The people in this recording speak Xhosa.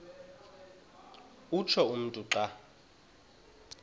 utsho umntu xa